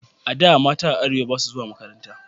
A da, mata a arewa ba su zuwa makaranta